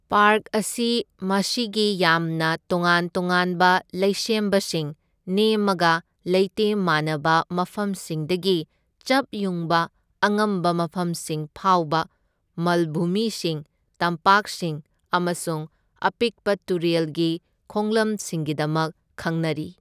Park ꯑꯁꯤ ꯃꯁꯤꯒꯤ ꯌꯥꯝꯅ ꯇꯣꯉꯥꯟ ꯇꯣꯉꯥꯟꯕ ꯂꯩꯁꯦꯝꯕꯁꯤꯡ, ꯅꯦꯝꯃꯒ ꯂꯩꯇꯦꯝ ꯃꯥꯟꯅꯕ ꯃꯐꯝꯁꯤꯡꯗꯒꯤ ꯆꯞ ꯌꯨꯡꯕ ꯑꯉꯝꯕ ꯃꯐꯝꯁꯤꯡ ꯐꯥꯎꯕ, ꯃꯜꯚꯨꯃꯤꯁꯤꯡ, ꯇꯝꯄꯥꯛꯁꯤꯡ ꯑꯃꯁꯨꯡ ꯑꯄꯤꯛꯄ ꯇꯨꯔꯦꯜꯒꯤ ꯈꯣꯡꯂꯝꯁꯤꯡꯒꯤꯗꯃꯛ ꯈꯪꯅꯔꯤ꯫